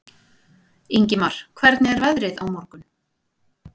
Ingimar, hvernig er veðrið á morgun?